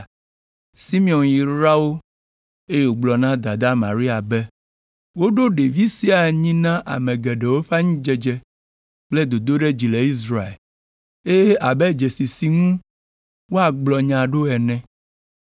Simeon yra wo, eye wògblɔ na dadaa Maria be, “Woɖo ɖevi sia anyi na ame geɖewo ƒe anyidzedze kple dodoɖedzi le Israel, eye abe dzesi si ŋu woagblɔ nya ɖo ene,